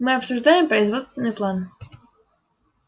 мы обсуждаем производственный план